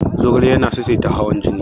Zogale yana saisaita hawan jini.